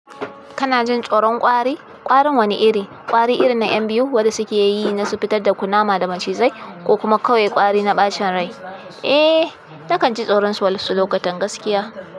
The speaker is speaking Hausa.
Kana jin tsoron kwari? Kwarin wani iri? Kwari irin na 'yan biyu wanda suke yi nasu fitar da kunama da macizai ko kuma kawai kwari na ɓacin rai? Eh, nakan ji tsoron su wasu lokutan gaskiya.